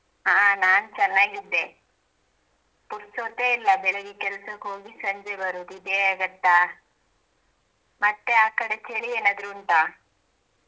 ಹಾಂ ನಾನ ಚೆನ್ನಾಗಿದ್ದೆ ಪುರ್ಸೊತೆ ಇಲ್ಲ ಬೆಳಿಗ್ಗೆ ಕೆಲ್ಸಕ್ಕೆ ಹೋಗಿ ಸಂಜೆ ಬರೋದು ಇದೆ ಆಗುತ್ತಾ ಮತ್ತೆ ಆ ಕಡೆ ಚಳಿ ಏನಾದ್ರು ಉಂಟಾ?